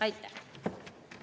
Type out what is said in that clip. Aitäh!